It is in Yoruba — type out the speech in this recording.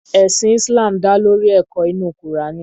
Ẹ̀sìn Islam dá lórí ẹ̀kọ́ inú Kùránì.